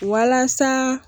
Walasa.